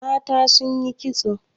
Mata sun yi kitso.